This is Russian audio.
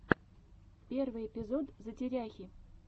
первый эпизод затеряхи